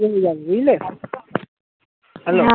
হয়ে যাবে বুঝলে hello